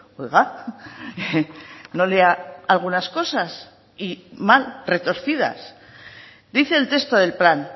oiga no lea algunas cosas y mal retorcidas dice el texto del plan